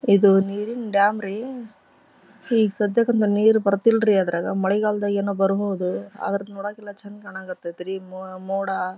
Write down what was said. ಇದು ನೀರಿನ ಡ್ಯಾಮ್ ರೀ. ಈಗ ಸದ್ಯಕಂತು ನೀರ್ ಬರ್ತಿಲ್ ರೀ ಅದ್ರಾಗ ಮಳೆಗಾಲದಾಗ್ ಏನೋ ಬರ್ಬಹುದು ಆದ್ರ ನೋಡಕ್ ಎಲ್ಲಾ ಚೆಂದ್ ಕಾಣಾಕ್ ಹತ್ತೈತ್ರಿ ಮೊ ಮೋಡ--